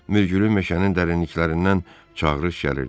Mürgülü meşənin dərinliklərindən çağırış gəlirdi.